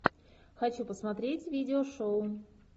хочу посмотреть видео шоу